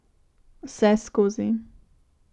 Vseskozi.